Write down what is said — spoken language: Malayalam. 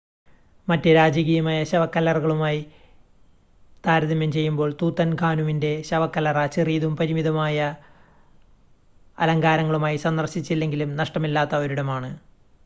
മറ്റ് രാജകീയമായ ശവക്കല്ലറികളുമായി താരതമ്യം ചെയ്യുമ്പോൾ തൂത്തൻഖാനുമിൻ്റെ ശവക്കല്ലറ ചെറിയതും പരിമിതമായ അലങ്കാരങ്ങളുമായി സന്ദർശിച്ചില്ലെങ്കിലും നഷ്ടമില്ലാത്ത ഒരിടമാണ്